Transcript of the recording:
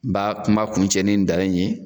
N b'a kuma kuncɛ ni nin dalen in ye.